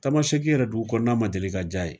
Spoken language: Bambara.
Tamasɛki yɛrɛ, dugu kɔnɔna ma deli ka diy'a ye!